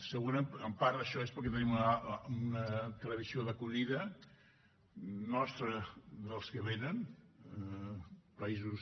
segurament en part això és perquè tenim una tradició d’acollida nostra dels que venen de països